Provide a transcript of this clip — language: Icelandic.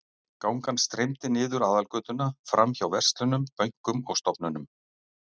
Gangan streymdi niður aðalgötuna, framhjá verslunum, bönkum og stofnunum.